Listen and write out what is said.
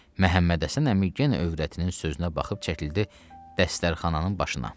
Məhəmməd Həsən əmi genə övrətinin sözünə baxıb çəkildi dəstərxananın başına.